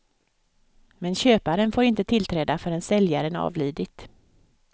Men köparen får inte tillträda förrän säljaren avlidit.